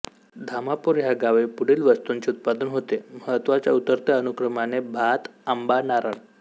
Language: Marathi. धामापूर ह्या गावी पुढील वस्तूंचे उत्पादन होते महत्त्वाच्या उतरत्या अनुक्रमाने भातआंबानारळ